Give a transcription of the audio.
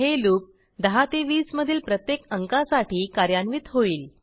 हे लूप 10 ते 20 मधील प्रत्येक अंकासाठी कार्यान्वित होईल